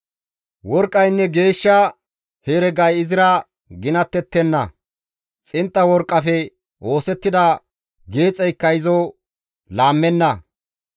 Worqqaynne geeshsha heregay izira ginattettenna; xintta worqqafe oosettida geexeykka izo laammana.